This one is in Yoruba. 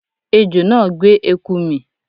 Ejò náà gbé eku mì